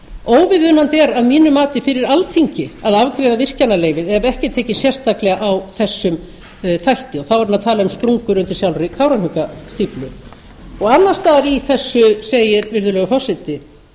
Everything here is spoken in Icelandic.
óviðunandi er að mínu mati fyrir alþingi að afgreiða virkjunarleyfið ef ekki er tekið sérstaklega á þessum þætti þá er hann að tala um sprungur undir sjálfri kárahnjúkastíflu annars staðar í þessu segir virðulegi forseti